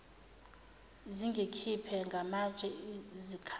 zingikhiphe ngamatshe zikhala